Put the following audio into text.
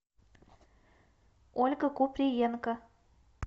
ольга куприенко